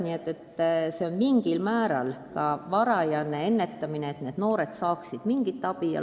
Nii et see on mingil määral ka varajane ennetustöö, et need noored saaksid mingit abi.